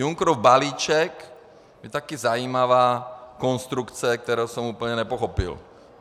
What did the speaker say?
Junckerův balíček je taky zajímavá konstrukce, kterou jsem úplně nepochopil.